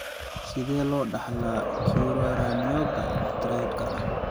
Sidee loo dhaxlaa Currarinoga triadka?